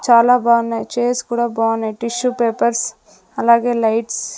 చాలా బాగున్నాయి చైర్స్ కూడా బాగున్నాయి టిష్యూ పేపర్స్ అలాగే లైట్స్ .